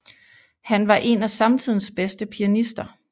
Han var en af samtidens bedste pianister